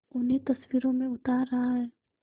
उन्हें तस्वीरों में उतार रहा है